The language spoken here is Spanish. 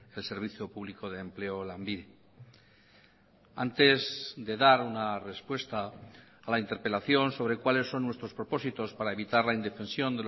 el servicio público de empleo lanbide antes de dar una respuesta a la interpelación sobre cuáles son nuestros propósitos para evitar la indefensión